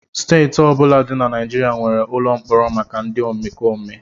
Steeti ọ bụla dị na Naịjirịa nwere ụlọ mkpọrọ maka ndị omekome